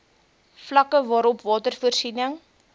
vlakke waarop watervoorsiening